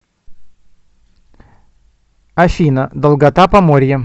афина долгота поморье